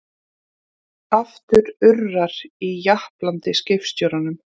Aftur urrar í japlandi skipstjóranum.